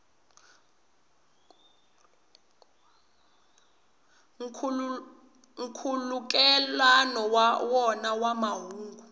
nkhulukelano wa wona wa mahungu